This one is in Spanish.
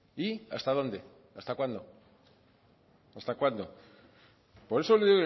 y hasta dónde hasta cuándo hasta cuándo por eso le